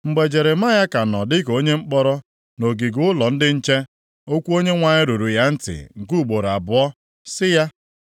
Mgbe Jeremaya ka nọ dịka onye mkpọrọ nʼogige ụlọ ndị nche, okwu Onyenwe anyị ruru ya ntị nke ugboro abụọ, sị ya,